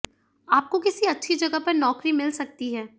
आपको किसी अच्छी जगह पर नौकरी मिल सकती है